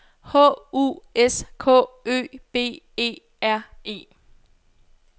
H U S K Ø B E R E